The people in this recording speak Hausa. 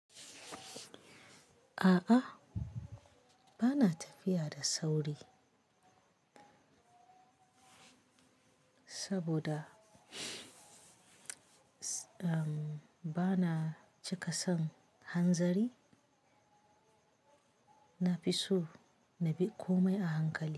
A'a, bana tafiya da sauri saboda, um, bana cika son hanzari. Na fi so na bi komai a hankali.